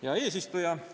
Hea eesistuja!